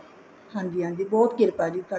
ਹਾਂਜੀ ਹਾਂਜੀ ਬਹੁਤ ਕਿਰਪਾ ਜੀ ਸਾਡੇ